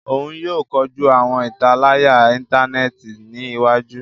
Òún yóò kọjú awọn italaya intaneti ní iwájú.